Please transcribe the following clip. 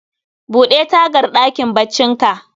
Bude tagar ɗakin baccin ka